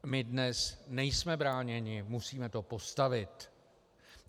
My dnes nejsme bráněni, musíme to postavit.